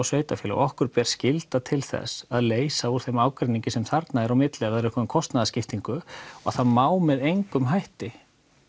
sveitafélög okkur ber skylda til þess að leysa úr þeim ágreiningi sem þarna er á milli ef það er eitthvað um kostnaðaskiptingu og það má með engum hætti